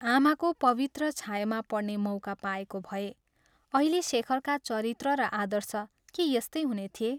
आमाको पवित्र छायामा पढ्ने मौका पाएको भए अहिले शेखरका चरित्र र आदर्श के यस्तै हुने थिए?